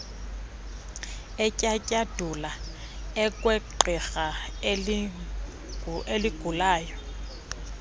etyatyadula okwegqirha elinqulayo